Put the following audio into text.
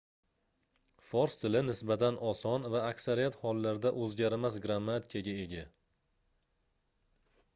fors tili nisbatan oson va aksariyat hollarda oʻzgarmas grammatikaga ega